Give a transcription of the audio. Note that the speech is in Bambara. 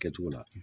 Kɛcogo la